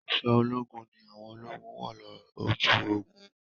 Aṣọ ológun ni àwọn ológun wọ̀ lọ ojú ogun.